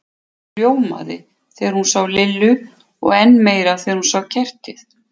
Hún ljómaði þegar hún sá Lillu og enn meira þegar hún sá kertið.